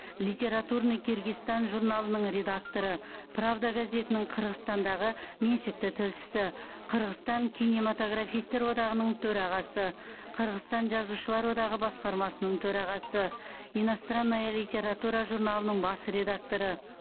литературный киргизстан журналының редакторы правда газетінің қырғызстандағы меншікті тілшісі қырғызстан кинематографистер одағының төрағасы қырғызстан жазушылар одағы басқармасының төрағасы иностранная литература журналының бас редакторы